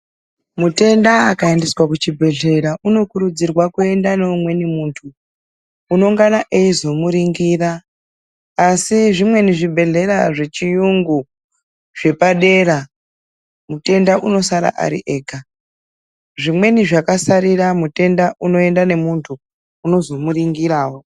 Mutenda akaendeswa kuchibhedhlera unokurudzirwa kuenda neumweni muntu unoungana eizomuringira , asi zvimweni zvibhedhlera zvechiyungu zvepadera mutenda anosara ari ega. Zvimweni zvakasarira mutenda unoenda nemuntu unoenda nemuntu unozomuringirawo.